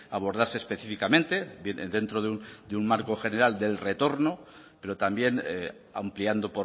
abordarse específicamente bien dentro de un marco general del retorno pero también ampliando